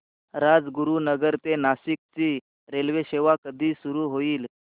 राजगुरूनगर ते नाशिक ची रेल्वेसेवा कधी सुरू होईल